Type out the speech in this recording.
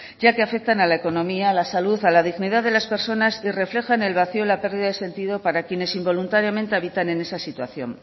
ya que afecta a la economía a la salud a la dignidad de las personas y reflejan el vacío y la pérdida de sentido para quienes involuntariamente habitan en esa situación